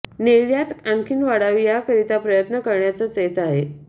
निर्यात आणखी वाढावी याकरीता प्रयत्न करण्याच येत आहेत